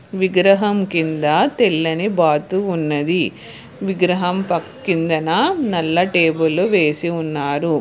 విగ్రహం కింద తెల్లని బాతు ఉన్నది విగ్రహం కిందన నల్లటేబులు వేసి ఉన్నారు.